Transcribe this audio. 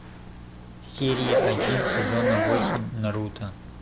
серия один сезона восемь наруто